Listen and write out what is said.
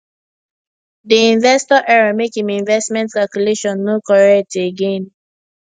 di investor error make im investment calculation no correct again